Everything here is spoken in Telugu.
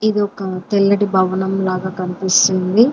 ఇదొక తెల్లటి భవనం లాగా కనిపిస్తుంది.